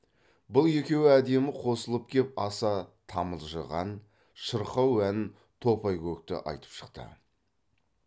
бұл екеуі әдемі қосылып кеп аса тамылжыған шырқау ән топай көкті айтып шықты